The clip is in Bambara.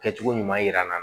Kɛcogo ɲuman yira n na